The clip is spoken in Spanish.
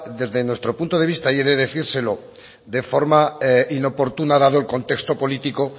desde nuestro punto de vista y he decírselo de forma inoportuna dado el contexto político